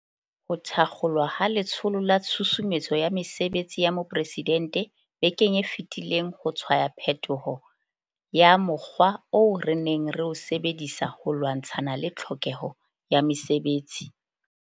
Ho thakgolwa ha Letsholo la Tshusumetso ya Mesebetsi ya Mopresidente bekeng e fetileng ho tshwaya phetoho ya mo kgwa oo re neng re o sebedisa ho lwantshana le tlhokeho ya mesebetsi.